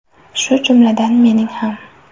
Shu jumladan mening ham.